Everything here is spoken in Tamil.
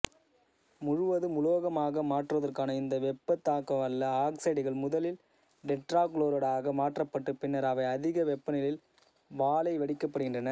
முழுவதும் உலோகமாக மாற்றுவதற்காக இந்த வெப்பந்தாங்கவல்ல ஆக்சைடுகள் முதலில் டெட்ராக்ளோரைடாக மாற்றப்பட்டு பின்னர் அவை அதிக வெப்பநிலையில் வாலைவடிக்கப்படுகின்றன